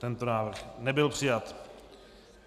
Tento návrh nebyl přijat.